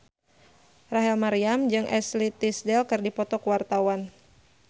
Rachel Maryam jeung Ashley Tisdale keur dipoto ku wartawan